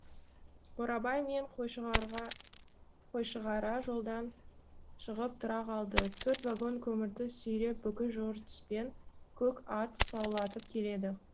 борабай мен қойшығара жолдан шығып тұра қалды төрт вагон көмірді сүйреп бүлкіл жортыспен көк ат саулатып келеді